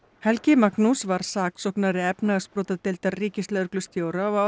helgi Magnús var saksóknari efnahagsbrotadeildar ríkislögreglustjóra á